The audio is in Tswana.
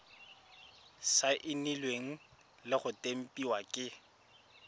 saenilwe le go tempiwa ke